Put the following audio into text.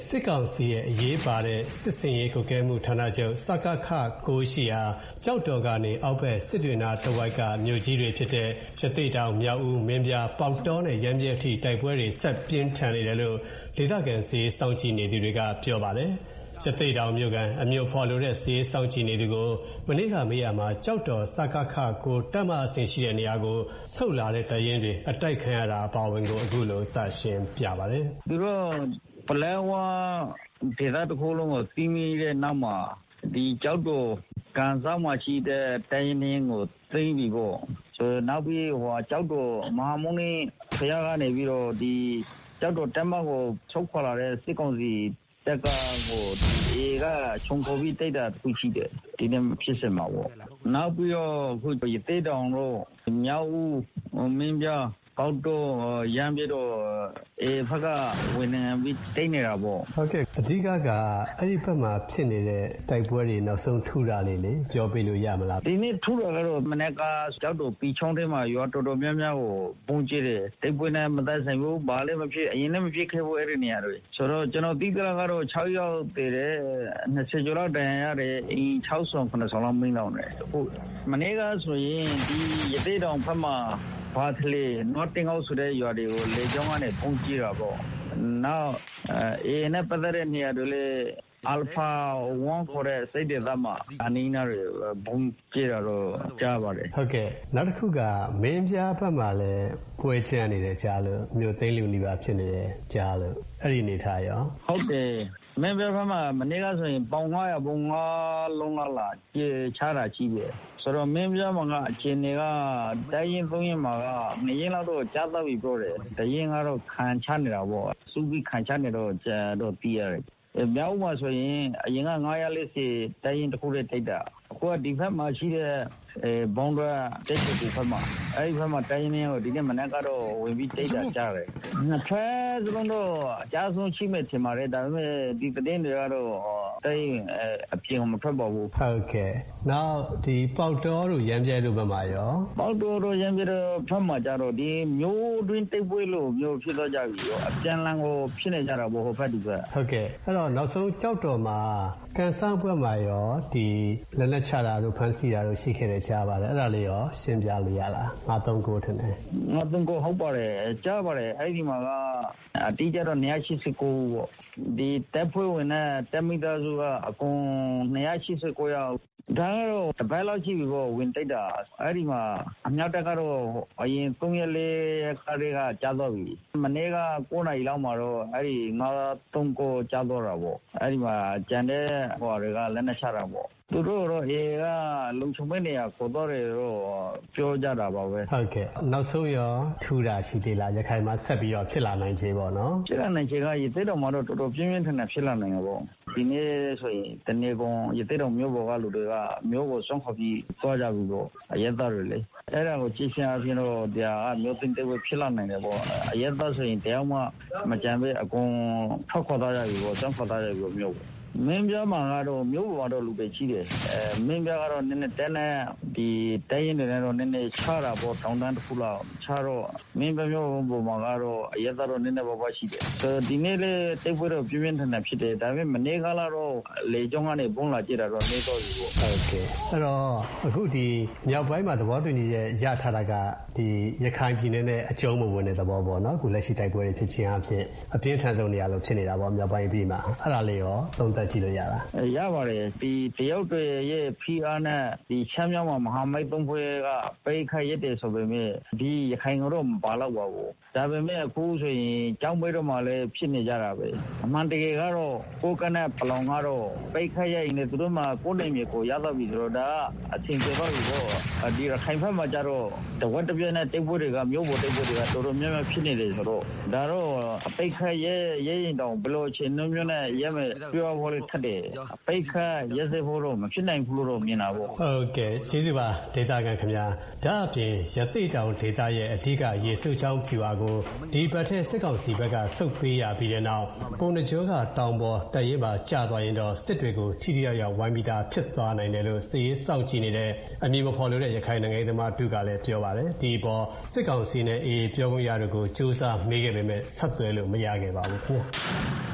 စစ်ကောင်စီရဲ့ အရေးပါတဲ့ စစ်ဆင်ရေးကွပ်ကဲမှုဌာနချုပ် ရှိရာ ကျောက်တော်ကနေ အောက်ဘက် စစ်တွေနားတဝိုက်က မြို့ကြီးတွေဖြစ်တဲ့ ရသေ့တောင်၊ မြောက်ဦး၊ မင်းပြား၊ ပေါက်တောနဲ့ ရမ်းဗြဲအထိ တိုက်ပွဲတွေ ဆက်ပြင်းထန်နေတယ်လို့ ဒေသခံ စစ်ရေးစောင့်ကြည့်နေသူတွေက ပြောပါတယ်။ ရသေ့တောင်မြို့ခံ အမည်မဖော်လိုတဲ့ စစ်ရေးစောင့်ကြည့်နေသူကို မနေ့ကမေးရာမှာ ကျောက်တော် တပ်မဟာအဆင့်ရှိတဲ့နေရာကို ဆုတ်လာတဲ့တပ်ရင်းတွေ အတိုက်ခံရတာအပါအဝင်ကို အခုလို စရှင်းပြပါတယ်။ "သူတို့က ပလက်ဝဒေသတခုလုံးကို သိမ်းပြီးတဲ့နောက်မှာ ဒီကျောက်တော်ကန်စောက်မှာရှိတဲ့ တပ်ရင်းနှစ်ရင်းကို သိမ်းပြီပေါ့၊ နောက်ပြီး ကျောက်တော် မဟာမုနိကနေပြီးတော့ ကျောက်တော်တပ်မကို ဆုတ်ခွါလာတဲ့ စစ်ကောင်စီတပ်ကို အေအေက ခြုံခိုပြီးတိုက်တာ တခုရှိတယ်။ နောက်ပြီးတော့ ရသေ့တောင်၊ မြောက်ဦး၊ မင်းပြား၊ ပေါက်တော၊ ရမ်းဗြဲကို အေအေဘက်က ဝင်ပြီးသိမ်းနေတာပေါ့။" ဟုတ်ကဲ့၊ အဓိက-က အဲဒီဘက်မှာဖြစ်နေတဲ့တိုက်ပွဲတွေ နောက်ဆုံးထူးတာလေး ပြောပေးလို့ရမလား။ ဒီနေ့ ထူးတာကတော့ မနက်က ကျောက်တော် ပီချောင်းထဲမှာ ရွာတော်တော်များများကို ဗုံးကြဲတယ်။ တိုက်ပွဲနဲ့မသက်ဆိုင်ဘူး၊ ဘာလဲမဖြစ်၊ အရင်လည်း မဖြစ်ခဲ့ဘူး၊ အဲဒီနေရာတွေမှာ။ ကျနော်သိသလောက်ကတော့ ခြောက်ယောက် သေတယ်တဲ့။ ၂၀ ကျော်လောက် ဒဏ်ရာရတယ်။ အိမ် ခြောက်ဆောင်၊ ခုနစ်ဆောင်လောက် မီးလောင်တယ်။ မနေ့ကဆိုရင် ဒီရသေ့တောင်ဘက်မှာ ဘာခလေ နွားတင်းကုတ် ဆိုတဲ့ရွာတွေကို ဗုံးကြဲတာပေါ့။ နောက် အေအေနဲ့ပတ်သက်တဲ့နေရာတွေလည်း အာလ်ဖာ 1 ခေါ်တဲ့ဘက်မှာ အနီးအနားတွေ ဗုံးကြဲတာတော့ ကြားရပါတယ်။ ဟုတ်ကဲ့၊ နောက်တခုက မင်းပြားဘက်မှာလည်း ပွဲကြမ်းနေတယ်ကြားလို့၊ မြို့သိမ်းလုနီးပါးဖြစ်နေတယ်၊ အဲဒီအနေအထားကရော။ ဟုတ်တယ်။ ရမ်းဗြဲဘက်မှာ မနေ့ကဆို ပေါင် ၅၀၀ ဗုံး ငါးလုံးလောက် လာကြဲချတာရှိတယ်။ တော်တော်များများမှာ အခြေအနေက တပ်ရင်း သုံးရင်းမှာ နှစ်ရင်းက ကျသွားပြီပြောတယ်။ တရင်းကတော့ ခံချနေတာပေါ့။ စုပြီး ခံချနေတယ်လို့ သိရတယ်။ မြောက်ဦးမှာဆိုရင် အရင်က ၅၄၀ တပ်ရင်းတခုတည်းတိုက်တာ။ ဒီဘက်မှာရှိတဲ့ ဘောင်းဒွဲ၊ တန်းရွှေကူဘက်မှာ၊ အဲဒီဘက်က တပ်ရင်း နှစ်ရင်းကတော့ ဒီမနက် ဝင်ပြီးတိုက်တာ ကြားတယ်။ နှစ်ဘက်စလုံးတော့ အကျအဆုံးရှိမယ်ထင်ပါတယ်။ ဒါပေမဲ့ ဒီသတင်းတွေကတော့ တပ်ရင်းအပြင်ကို မထွက်ပါဘူး။ ဟုတ်ကဲ့၊ နောက် ပေါက်တောတို့ ရမ်းဗြဲတို့ဘက်မှာရော။ ပေါက်တောတို့၊ ရမ်းဗြဲတို့ဘက်မှာကျတော့ မြို့တွင်းတိုက်ပွဲလို ဖြစ်သွားကြပြီ။ အပြန်အလှန်ကို ဖြစ်နေကြတာပေါ့။ ဟိုဘက် ဒီဘက်။ အဲဒီတော့ ကျောက်တော်မှာ ကံစောက်ဘက်မှာရော လက်နက်ချတာတို့၊ ဖမ်းဆီးတာတို့ ရှိခဲ့တယ်ကြားပါတယ်။ အဲဒါလေးရော ရှင်းပြလို့ရလား။ ထင်တယ်။ ၅၃၉ ဟုတ်ပါတယ်။ ကြားပါတယ်။ အဲဒီမှာက အတိအကျတော့ ၂၈၉ ဦးပေါ့၊ တပ်ဖွဲ့ဝင်နဲ့ တပ်မိသားစုက အကုန် ၂၈၉ ယောက်။ ဒါကတော့ တပတ်လောက်ရှိပြီပေါ့၊ ဝင်တိုက်တာ။ အဲဒီမှာ အမြောက်တပ်ကတော့ အရင် သုံးရက် လေးရက်ကတည်းက ကျသွားပြီ။ မနေ့က ကိုးနာရီခွဲလောက်မှာတော့ အဲဒီ ၅၃၉ ကျသွားတာပေါ့။ အဲဒီမှာ ကျန်တဲ့သူတွေက လက်နက်ချတာပေါ့။ သူတို့တွေကိုတော့ အေအေက လုံခြုံတဲ့နေရာ ခေါ်သွားတယ်လို့တော့ ပြောကြတာပါပဲ။ ဟုတ်ကဲ့၊ နောက်ဆုံးရော ထူးတာ ရှိသေးလား၊ နောက်ထပ် ဖြစ်လာနိုင်ခြေပေါ့နော်။ ဖြစ်လာနိုင်ခြေက ရသေ့တောင်မှာတော့ တော်တော် ပြင်းပြင်းထန်ထန် ဖြစ်လာနိုင်တာပေါ့။ ဒီနေ့ဆိုရင် တနေကုန် ရသေ့တောင်မြို့ပေါ်က လူတွေက မြို့ကို စွန့်ခွါပြီး သွားကြပြီပေါ့။ အရပ်သားတွေလေ။ အဲဒါကိုကြည့်ခြင်းအားဖြင့် မြို့သိမ်းတိုက်ပွဲ ဖြစ်လာနိုင်တယ်ပေါ့။ အရပ်သားဆိုရင် တယောက်မှ မကျန်ဘဲ အကုန် ထွက်ခွါသွားကြပြီပေါ့။ စွန့်ခွါသွားကြပြီပေါ့-မြို့ကို။ မင်းပြားမှာကတော့ မြို့ပေါ်ကတော့ လူတွေရှိတယ်။ မင်းပြားကတော့ တပ်နဲ့-တပ်ရင်းတွေနဲ့ကတော့ နည်းနည်း ခြားတာပေါ့။ တောင်တန်းတခုလောက်။ ခြားတော့ မင်းပြားမြို့ပေါ်မှာကတော့ အရပ်သား နည်းနည်းပါးပါးရှိတယ်။ ဒီနေ့လည်း တိုက်ပွဲ ပြင်းပြင်းထန်ထန်ဖြစ်တယ်။ ဒါပေမဲ့ မနေ့ကတော့ လေကြောင်းကနေ ဗုံးလာကြဲတာတော့ နည်းသွားပြီပေါ့။ ဟုတ်ကဲ့၊ အဲဒီတော့ ဒီမြောက်ပိုင်းမှာ သဘောတူညီချက်ရထားတာက ရခိုင်ပြည်နယ်နဲ့အကျုံးမဝင်တဲ့သဘောပေါ့နော်။ လက်ရှိ တိုက်ပွဲတွေကို ကြည့်ခြင်းအားဖြင့်။ အပြင်းထန်ဆုံးနေရာလိုဖြစ်နေတာပေါ့။ မြောက်ပိုင်းအပြီးမှာ။ အဲဒါလေးရော သုံးသပ်ကြည့်လို့ရလား။ ရပါတယ်။ တရုတ်တွေရဲ့ဖိအားနဲ့ ရှမ်းမြောက်မှာ မဟာမိတ်သုံးဖွဲ့က အတိုက်အခိုက်ရပ်တယ်ဆိုပေမဲ့ ဒီ ရခိုင်ကိုတော့ မပါလောက်ပါဘူး။ ဒါပေမဲ့ အခုဆိုရင် ကျောက်မဲဘက်မှာလည်း ဖြစ်နေကြတာပဲ။ အမှန်တကယ်ကတော့ ကိုးကန့်နဲ့ပလောင်ကတော့ အတိုက်အခိုက်ရပ်ရင်လည်း ကိုယ့်နယ်မြေကိုယ် ရသွားပြီလေ။ ဒါက အဆင်ပြေသွားပြီပေါ့။ ရခိုင်ဘက်မှာကျတော့ တဝက်တပြက်နဲ့ မြို့ပေါ်တိုက်ပွဲတွေက တော်တော်များများ ဖြစ်နေတယ်ဆိုတော့ ဒါက အတိုက်အခိုက်ရပ်ရင်တောင် ဘယ်လိုအခြေအနေမျိုးနဲ့ရပ်မယ် ပြောရအောင်လည်း ခက်တယ်။ အဲဒီအတွက် ရပ်တန့်ဖို့တော့ မဖြစ်နိုင်ဘူးလို့ မြင်တာပဲ။ ဟုတ်ကဲ့၊ ကျေးဇူးပါ ဒေသခံခင်ဗျား။ ဒါ့အပြင် ရသေ့တောင်ဒေသရဲ့အဓိက ရေစိုးချောင်း ဗျူဟာကို ဒီအပတ်ထဲ စစ်ကောင်စီဘက်က ဆုတ်ပေးရပြီးတဲ့နောက် ပုဏ္ဏားကျွန်းက တောင်ပေါ် တပ်ရင်းပါ ကျသွားရင်တော့ စစ်တွေကို ထိထိရောက်ရောက် ဝိုင်းပြီးသား ဖြစ်သွားနိုင်တယ်လို့ စစ်ရေးစောင့်ကြည့်နေတဲ့ အမည်မဖော်လိုတဲ့ ရခိုင် နိုင်ငံရေးသမားတဦးကလည်း ပြောပါတယ်။ ဒီအပေါ် စစ်ကောင်စီနဲ့ အေအေ ပြောခွင့်ရတို့ကို ကြိုးစားမေးခဲ့ပေမဲ့ ဆက်သွယ်လို့ မရခဲ့ပါဘူးခင်ဗျာ